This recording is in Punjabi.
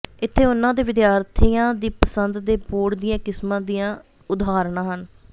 ਇੱਥੇ ਉਨ੍ਹਾਂ ਦੇ ਵਿਦਿਆਰਥੀਆਂ ਦੀ ਪਸੰਦ ਦੇ ਬੋਰਡ ਦੀਆਂ ਕਿਸਮਾਂ ਦੀਆਂ ਉਦਾਹਰਨਾਂ ਹਨ